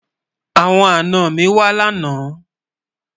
àwọn àná mí wà lànà